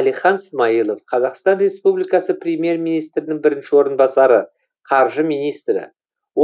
әлихан смайылов қазақстан республикасы премьер министрінің бірінші орынбасары қаржы министрі